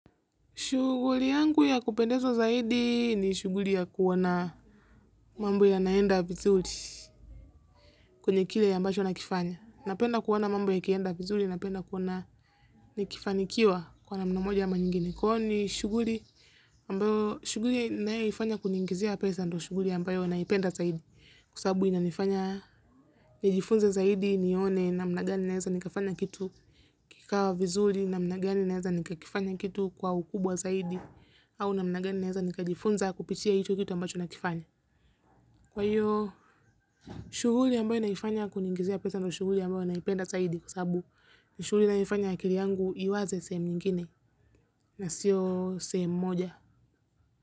Shughuli yangu ya kupendeza zaidi ni shughuli ya kuona mambo yanaenda vizuri kwenye kile ambacho nakifanya. Napenda kuona mambo yakienda vizuri napenda kuona nikifanikiwa kwa namna moja ama nyingine. Kwani shughuli ninayoifanya kuniingizia pesa ndio shughuli ambayo naipenda zaidi. Kwa sababu inanifanya nijifunze zaidi nione namna gani naeza nikafanya kitu kikawa vizuri namna gani naeza nikakifanya kitu kwa ukubwa zaidi au namna gani naeza nikajifunza kupitia hicho kitu ninachokifaya. Kwa hiyo, shughuli ambayo naifanya kuningizia pesa ndio shughuli ambayo naipenda zaidi kwa sababu ni shughuli inayoifanya akili yangu iwaze sehemu nyingine na siyo sehemu moja.